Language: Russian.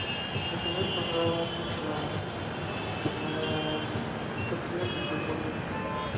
закажи пожалуйста котлеты для бургеров